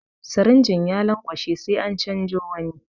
Sirinjin ya lanƙwashe sai an canzo wani.